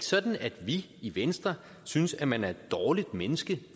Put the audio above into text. sådan at vi i venstre synes at man er et dårligt menneske